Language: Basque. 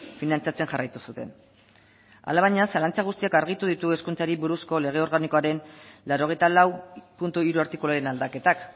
finantzatzen jarraitu zuten hala baina zalantza guztiak argitu ditu hezkuntzari buruzko lege organikoaren laurogeita lau puntu hiru artikuluaren aldaketak